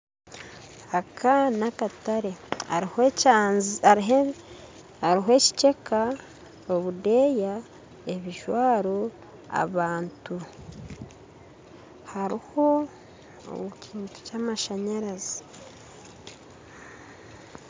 Aka n'akatare hariho ekikyeka, obudeeya, ebijwaro abantu hariho n'ekintu ky'amashanyarazi